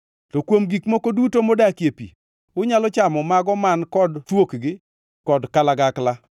To kuom gik moko duto modakie pi, unyalo chamo mago man kod thuokgi kod kalagakla.